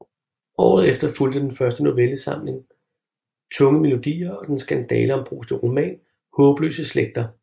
Året efter fulgte den første novellesamling Tunge melodier og den skandaleombruste roman Haabløse Slægter